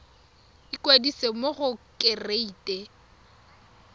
ikwadisa mo go kereite r